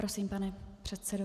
Prosím, pane předsedo.